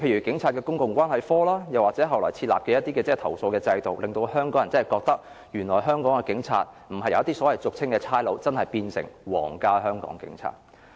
警察公共關係科，或後來設立的投訴制度，令香港人覺得，原來香港的警察不再是俗稱的"差佬"，而真的變成皇家香港警察。